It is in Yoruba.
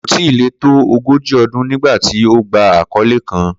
Ko tilẹ to ogoji ọdun nigbati o gba akọle kan